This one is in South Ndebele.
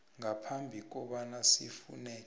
ngaphambi kobana sifuneke